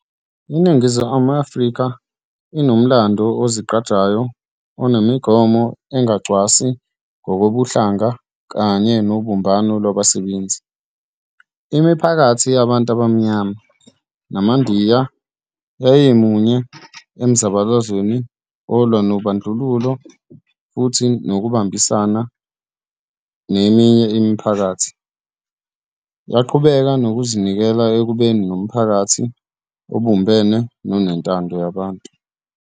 INingizimu Afrika inomlando ozigqajayo onemigomo engacwasi ngokobuhlanga kanye nobumbano lwabasebenzi. Imiphakathi yabantu abaMnyama namaNdiya yayimunye emzabalazweni olwa nobandlululo, futhi ngokubambisana neminye imiphakathi, yaqhubeka nokuzinikela ekubeni nomphakathi obumbene nonentando yabantu.